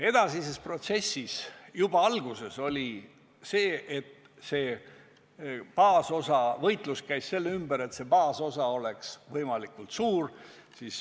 Edasises protsessis hakkas juba alguses käima võitlus selle nimel, et see baasosa oleks võimalikult suur.